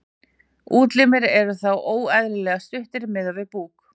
útlimir eru þá óeðlilega stuttir miðað við búk